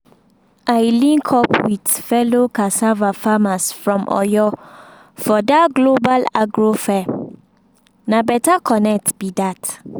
i link up with fellow cassava farmers from oyo for that global agro fair na better connect be that.